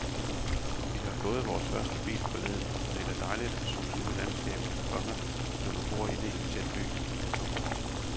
Vi har fået vores første bil forleden og det er da dejligt at suse ud i landskabet, komma når man bor inde i en tæt by. punktum